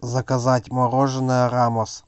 заказать мороженое рамос